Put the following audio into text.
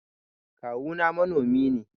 Kawu na manomi ne.